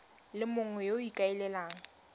le mongwe yo o ikaelelang